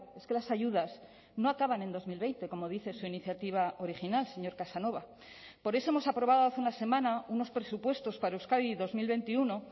es que las ayudas no acaban en dos mil veinte como dice su iniciativa original señor casanova por eso hemos aprobado hace una semana unos presupuestos para euskadi dos mil veintiuno